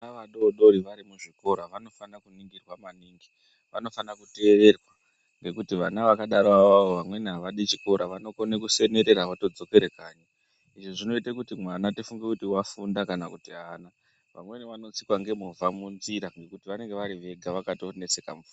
Vana vadoodori vari muzvikora vanofana kuningirwa maningi, vanofana kuteererwa nekuti vana vakadaro avavo vamweni havadi chikora, vanokone kusenerera votodzokere kanyi. Izvi zvinoite kuti mwana tifunge kuti wafunda kana kuti haana. Vamweni vanotsikwa ngemovha munzira nekuti vanenge vari vega vakatonetseka mupfu...